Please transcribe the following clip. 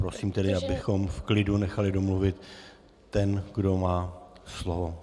Prosím tedy, abychom v klidu nechali domluvit toho, kdo má slovo.